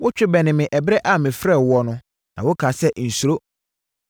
Wotwe bɛnee me ɛberɛ a mefrɛɛ woɔ no, na wokaa sɛ, “Nsuro.”